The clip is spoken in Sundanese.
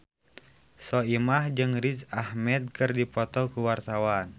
Soimah jeung Riz Ahmed keur dipoto ku wartawan